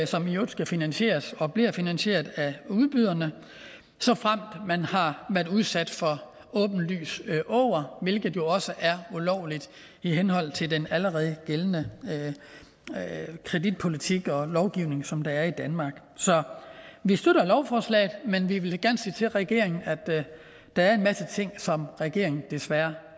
som i øvrigt skal finansieres og bliver finansieret af udbyderne såfremt man har været udsat for åbenlys åger hvilket jo også er ulovligt i henhold til den allerede gældende kreditpolitik og lovgivning som der er i danmark så vi støtter lovforslaget men vi vil gerne sige til regeringen at der er en masse ting som regeringen desværre